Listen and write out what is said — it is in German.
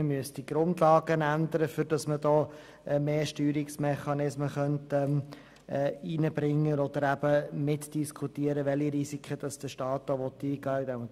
Man müsste die Grundlagen ändern, um mehr Steuerungsmechanismen zu schaffen oder eben mitzudiskutieren, welche Risiken der Staat eingehen will.